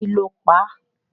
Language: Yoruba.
Kí lo pa á?